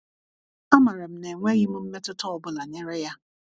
amaram na enweghim mmetuta ọbụla nyere ya